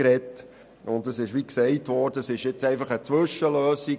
Wie gesagt worden ist, handelt es sich dabei jetzt um eine Zwischenlösung.